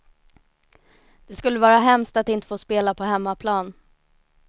Det skulle vara hemskt att inte få spela på hemmaplan.